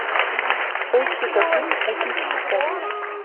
поищи ка фильм учимся читать